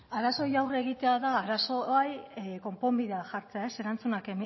da hitza arazoei aurre egitea da arazo bai konponbidea jartzea erantzunak